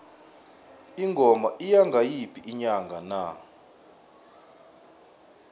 ingoma iya ngayiphi inyanga na